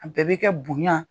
A bɛɛ bɛ kɛ bonya.